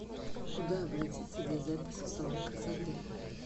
куда обратиться для записи в салон красоты